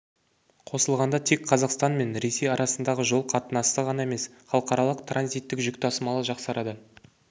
қосылғанда тек қазақстан мен ресей арасындағы жол қатынасы ғана емес халықаралық транзиттік жүк тасымалы жақсарады